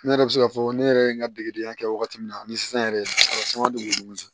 Ne yɛrɛ bɛ se k'a fɔ ne yɛrɛ ye n ka degedenya kɛ wagati min na ni sisan yɛrɛ caman de b'olu cɛ